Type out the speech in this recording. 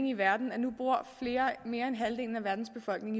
i verden at mere end halvdelen af verdens befolkning